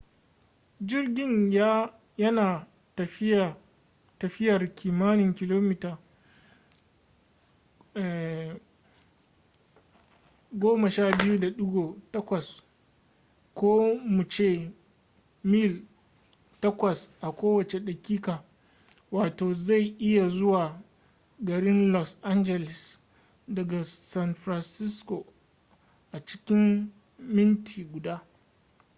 jirgin ya na tafiyar kimanin kilomita 12.8 ko mu ce mil 8 a kowace daƙiƙa wato zai iya zuwa garin los angeles daga san francisco a cikin minti guda